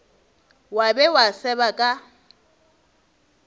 wa be wa seba ka